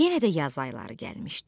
Yenə də yaz ayları gəlmişdi.